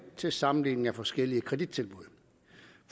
til sammenligning af forskellige kredittilbud